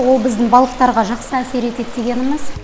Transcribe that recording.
ол біздің балықтарға жақсы әсер етеді дегеніміз